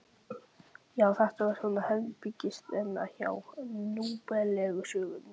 Já, þetta er svona herbergisþerna hjá núþálegu sögnunum.